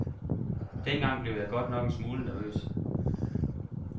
Dengang blev jeg godt nok en smule nervøs.